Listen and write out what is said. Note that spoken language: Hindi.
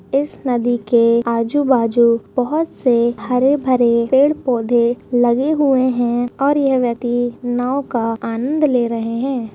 इस नदी के आजू-बाजू बहौत से हरे-भरे पेड़-पौधे लगे हुए हैं और यह व्यक्ति नाव का आनंद ले रहे हैं।